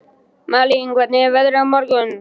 Malín, hvernig er veðrið á morgun?